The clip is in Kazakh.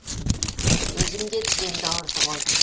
өзім де тіземді ауыртып алдым